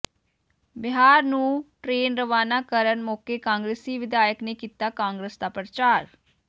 ਬਿਹਾਰ ਨੂੰ ਟ੍ਰੇਨ ਰਵਾਨਾ ਕਰਨ ਮੌਕੇ ਕਾਂਗਰਸੀ ਵਿਧਾਇਕ ਨੇ ਕੀਤਾ ਕਾਂਗਰਸ ਦਾ ਪ੍ਰਚਾਰ